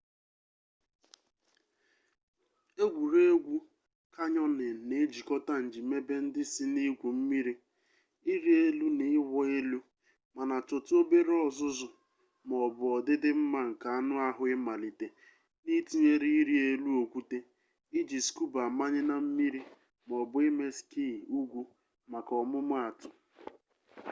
egwuregwu kanyọnịn na-ejikọta njìmebe ndị si na igwu mmiri ịrị elu na ịwụ elu--mana chọtụ obere ọzụzụ ma ọ bụ ọdịdị mma nke anụ ahụ imalite n'ịtụnyere ịrị elu okwute iji skuba amanye na mmiri maọbụ ime skii ugwu maka ọmụmaatụ